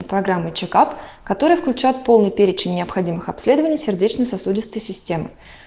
программа чек ап которая включает полный перечень необходимых обследований сердечно-сосудистой системы